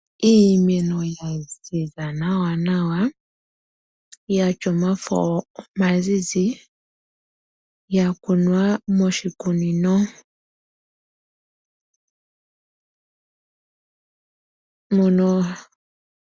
Iimeno yaziza nawa nawa, yatya omafo omazizi yakunwa moshikunino mono.